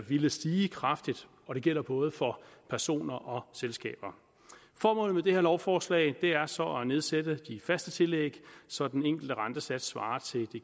ville stige kraftigt og det gælder både for personer og selskaber formålet med det her lovforslag er så at nedsætte de faste tillæg så den enkelte rentesats svarer til det